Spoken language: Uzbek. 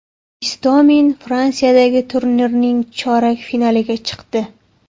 Istomin Fransiyadagi turnirning chorak finaliga chiqdi.